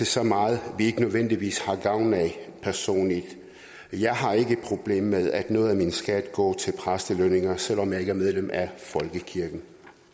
så meget vi ikke nødvendigvis har gavn af jeg har ikke problem med at noget af min skat går til præstelønninger selv om jeg ikke er medlem af folkekirken